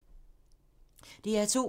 DR2